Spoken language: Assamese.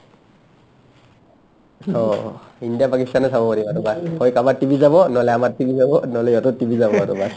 অ, ইণ্ডিয়া পাকিস্তানে চাব পাৰিম আৰু বাকী কাবাৰ টিভি চাব নহ'লে আমাৰ টিভি চাব নহলে সিহতৰ টিভি চাব আৰু baas